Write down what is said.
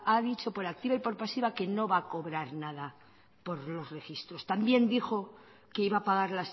ha dicho por activa y por pasiva que no va a cobrar nada por los registros también dijo que iba a pagar